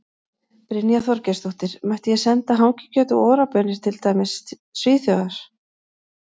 Brynja Þorgeirsdóttir: Mætti ég senda hangikjöt og Ora baunir til, til dæmis Svíþjóðar?